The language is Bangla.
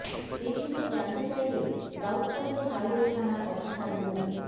এ বিষয়ে জানতে চাইলে দাউদকান্দি হাইওয়ে থানার অফিসার মো